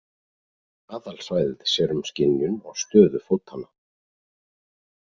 Aðalsvæðið sér um skynjun og stöðu fótanna.